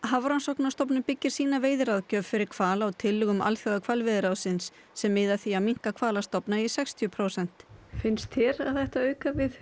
Hafrannsóknastofnun byggir sína veiðiráðgjöf fyrir hval á tillögum Alþjóðahvalveiðiráðsins sem miða að því að minnka hvalastofna í sextíu prósent finnst þér að það ætti að auka við